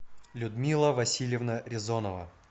людмила васильевна резонова